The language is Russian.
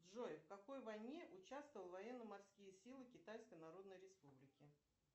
джой в какой войне участвовал военно морские силы китайской народной республики